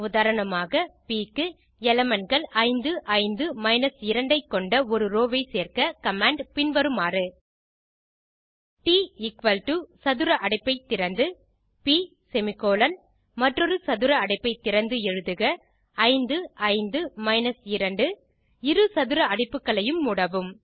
உதாரணமாக ப் க்கு elementகள் 5 5 2 ஐ கொண்ட ஒரு ரோவை சேர்க்க கமாண்ட் பின்வருமாறு160 ட் சதுர அடைப்பை திறந்து ப் செமிகோலன் மற்றொரு சதுர அடைப்பைத் திறந்து எழுதுக 5 5 2 இரு சதுர அடைப்புகளையும் மூடவும்